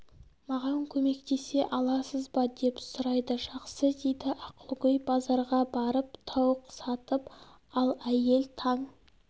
маған көмектесе аласыз ба деп сұрайды жақсы дейді ақылгөй базарға барып тауық сатып ал әйел таң